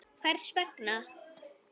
Hvers vegna.